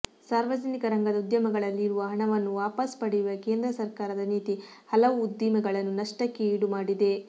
ಸಾರ್ವಜನಿಕ ರಂಗದ ಉದ್ಯಮಗಳಲ್ಲಿ ಇರುವ ಹಣವನ್ನು ವಾಪಾಸು ಪಡೆಯುವ ಕೇಂದ್ರ ಸರಕಾರದ ನೀತಿ ಹಲವು ಉದ್ದಿಮೆಗಳನ್ನು ನಷ್ಟಕ್ಕೆ ಈಡುಮಾಡಿದೆ